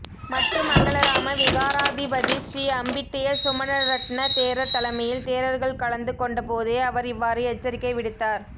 மட்டு மங்களராம விகாராதிபதி ஸ்ரீ அம்பிட்டிய சுமணரட்ன தேரர் தலைமையில் தேரர்கள் கலந்து கொண்டபோதே அவர் இவ்வாறு எச்சரிக்கை விடுத்தார்